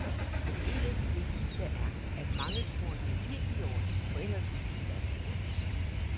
Men en af de vigtigste er, at mange tror det er helt i orden, for ellers ville det jo være forbudt.